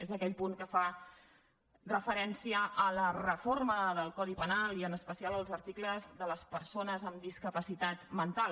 és aquell punt que fa referència a la reforma del codi penal i en especial als articles de les persones amb discapacitat mental